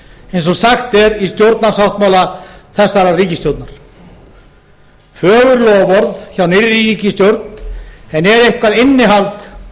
eins og sagt er í stjórnarsáttmála þessarar ríkisstjórnar fögur loforð hjá nýrri ríkisstjórn en er eitthvað innihald